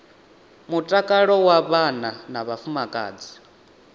mutakalo wa vhana na vhafumakadzi